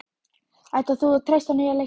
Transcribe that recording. Ætlar þú að treysta á nýja leikmenn?